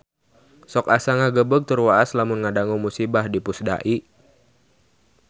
Sok asa ngagebeg tur waas lamun ngadangu musibah di Pusdai